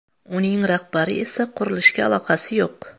Uning rahbari esa qurilishga aloqasi yo‘q.